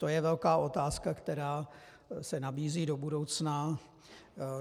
To je velká otázka, která se nabízí do budoucna.